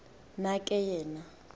na ke yena